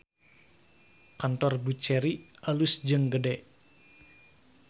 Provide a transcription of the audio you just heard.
Kantor Buccheri alus jeung gede